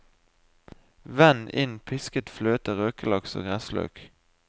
Vend inn pisket fløte, røkelaks og gressløk.